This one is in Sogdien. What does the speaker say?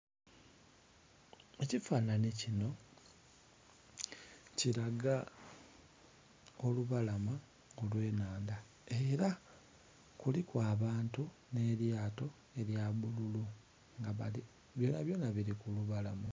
Ekifananhi kinho kilaga olubalama olwe nhandha era kuliku abantu nhe lyato elya bululu nga byona byona bili ku lubalama.